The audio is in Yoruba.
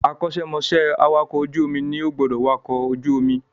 Akọ́ṣẹ́ mọṣẹ́ awàkọ̀ ojú omi ní ó gbọ́dọ̀ wakọ̀ ojú omi